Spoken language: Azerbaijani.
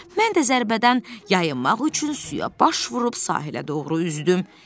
Mən də zərbədən yayınmaq üçün suya baş vurub sahilə doğru üzdüm.